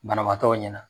Banabaatɔw ɲɛna